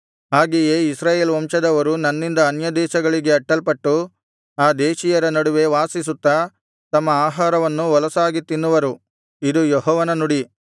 ಹಾಗೆಯೇ ಇಸ್ರಾಯೇಲ್ ವಂಶದವರು ನನ್ನಿಂದ ಅನ್ಯದೇಶಗಳಿಗೆ ಅಟ್ಟಲ್ಪಟ್ಟು ಆ ದೇಶೀಯರ ನಡುವೆ ವಾಸಿಸುತ್ತಾ ತಮ್ಮ ಆಹಾರವನ್ನು ಹೊಲಸಾಗಿ ತಿನ್ನುವರು ಇದು ಯೆಹೋವನ ನುಡಿ